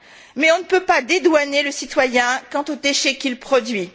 Mais on ne peut pas dédouaner le citoyen quant aux déchets qu'il produit.